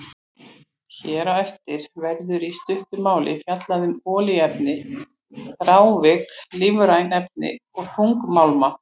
Hér á eftir verður í stuttu máli fjallað um olíuefni, þrávirk lífræn efni og þungmálma.